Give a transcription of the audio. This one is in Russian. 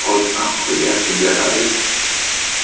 однако я собираюсь